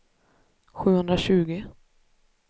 sjuhundratjugo